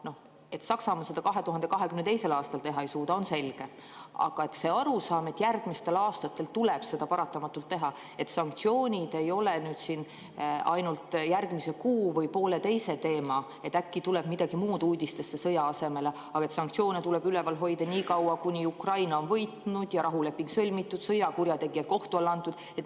Noh, et Saksamaa seda 2022. aastal teha ei suuda, on selge, aga kas on arusaam, et järgmistel aastatel tuleb seda paratamatult teha, et sanktsioonid ei ole ainult järgmise kuu või pooleteise teema, et äkki tuleb sõja asemel midagi muud uudistesse, aga sanktsioone tuleb üleval hoida nii kaua, kuni Ukraina on võitnud ja rahuleping sõlmitud, sõjakurjategijad kohtu alla antud?